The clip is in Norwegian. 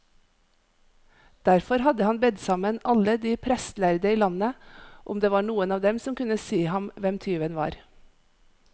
Derfor hadde han bedt sammen alle de prestlærde i landet, om det var noen av dem som kunne si ham hvem tyven var.